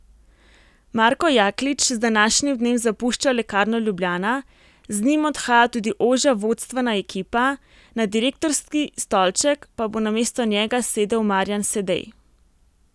Marko Jaklič z današnjim dnem zapušča Lekarno Ljubljana, z njim odhaja tudi ožja vodstvena ekipa, na direktorski stolček pa bo namesto njega sedel Marjan Sedej.